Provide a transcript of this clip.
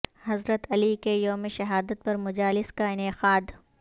حضرت علی کے یوم شہادت پر مجالس کا انعقاد